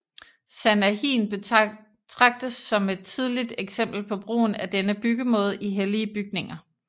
Sanahin betragtes som et tidligt eksempel på brugen af denne byggemåde i hellige bygninger